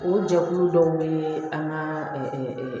O jɛkulu dɔw bɛ an ka